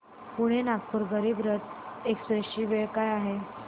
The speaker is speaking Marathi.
पुणे नागपूर गरीब रथ एक्स्प्रेस ची वेळ काय आहे